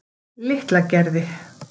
Litlagerði